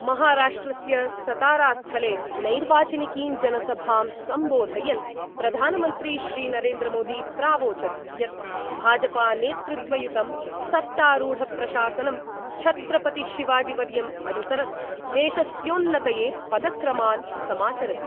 महाराष्ट्रस्य सतारास्थले नैर्वाचानिकीं जनसभां सम्बोधयन् प्रधानमन्त्री श्रीनरेन्द्रमोदी प्रावोचद् यत् भाजपानेतृत्वयुतं सत्तारूढप्रशासनं छत्रपति शिवाजीवर्यम् अनुसरत् देशस्योन्नतये पदक्रमान् समाचरति।